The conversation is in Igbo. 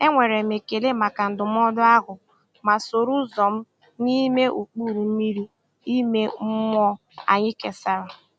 E nwere m ekele maka ndụmọdụ ahụ, ma soro ụzọ m n’ime ụkpụrụ ime mmụọ anyị kesàrà.